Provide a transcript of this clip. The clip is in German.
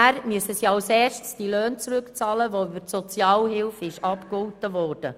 Doch danach müssen sie zuerst die über die Sozialhilfe abgegoltenen Löhne zurückbezahlen.